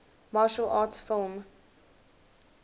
martial arts film